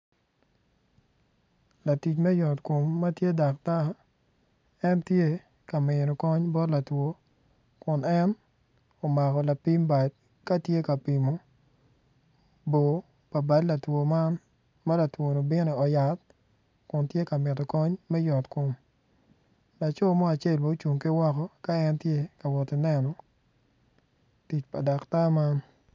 Latic me yot kom matye daktar en tye ka mino kony bot latwo kun en omako lapim bad katye ka pimo bor pa bad latwo man ma latwoni obino i ot yat kun tye ka mito kony me yot kom laco mo acel bene ocung ki woko ka en tye kawoto ki neno tic pa dakta man